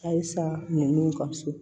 Halisa ninnu ka so